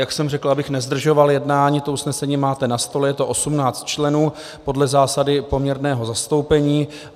Jak jsem řekl, abych nezdržoval jednání, to usnesení máte na stole, je to 18 členů podle zásady poměrného zastoupení.